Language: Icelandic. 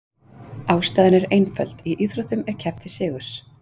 Ástæðan er einföld: í íþróttum er keppt til sigurs.